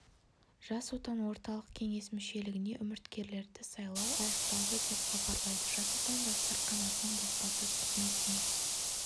жас отан орталық кеңес мүшелігіне үміткерлерді сайлау аяқталды деп хабарлайды жас отан жастар қанатының баспасөз қызметіне